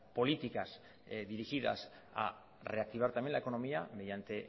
políticas dirigidas a reactivar también la economía mediante